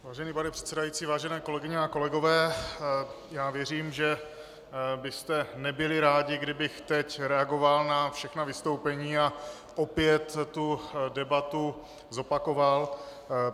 Vážený pane předsedající, vážené kolegyně a kolegové, já věřím, že byste nebyli rádi, kdybych teď reagoval na všechna vystoupení a opět tu debatu zopakoval.